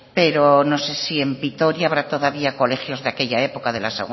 pero no sé si en vitoria habrá todavía colegios de aquella época de la